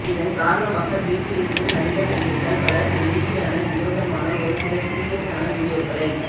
இதன் காரணமாக வீட்டில் இருக்கும் நடிகர் நடிகைகள் பலர் வேடிக்கையான வினோதமான ஒரு சில சீரியஸான வீடியோக்களை